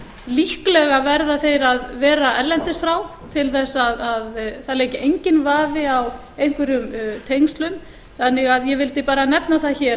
líklega verða þeir að vera erlendis frá til þess að það leiki enginn vafi á einhverjum tengslum þannig að ég vildi bara nefna það hér